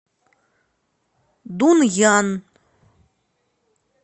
дунъян